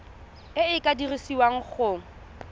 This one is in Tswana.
e e ka dirisiwang go